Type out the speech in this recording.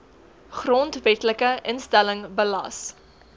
grondwetlike instelling belas